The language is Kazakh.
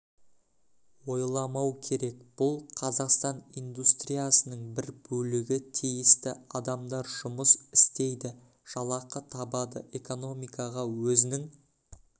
ойламау керек бұл қазақстан индустриясының бір бөлігі тиісті адамдар жұмыс істейді жалақы табады экономикаға өзінің